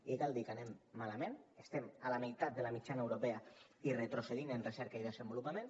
i cal dir que anem malament estem a la meitat de la mitjana europea i retrocedint en recerca i desenvolupament